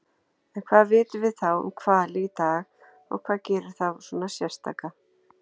En hvað vitum við þá um hvali í dag og hvað gerir þá svona sérstaka?